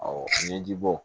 ɲɛji bɔ